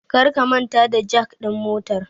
Karka manta da jak din motar